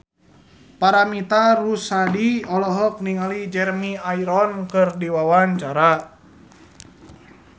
Paramitha Rusady olohok ningali Jeremy Irons keur diwawancara